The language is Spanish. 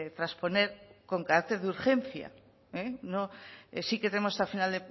transponer con carácter de urgencia sí que tenemos hasta final